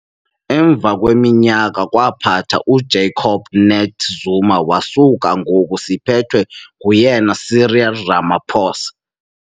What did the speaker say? emvakweminyaka kwaphatha , u Jacob Nate Zuma wasuka ngoku siphethwe Nguyen Cyril Ramaphosa